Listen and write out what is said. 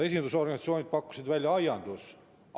Esindusorganisatsioonid pakkusid välja aianduse.